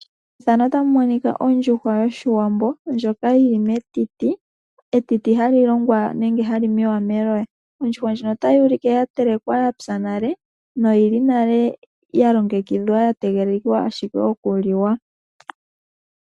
Ondjuhwa yoshiwambo ndjoka yili metiti ,etiti hali longwa nenge hali holwa melowa, Oondjuhwa otayi ulike ya yelekwa yapya nale noya longekidha yatega oku liwa